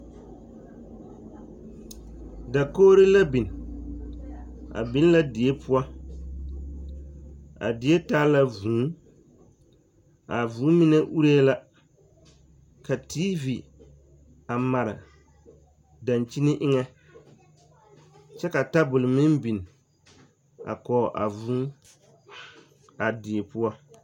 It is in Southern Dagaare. Dakogiri la biŋ, a biŋ la die poɔ, a die taa la vūū, a vūū mine uree la ka TV a mare dankyini eŋɛ kyɛ ka tabol meŋ biŋ a kɔge a vūū a die poɔ.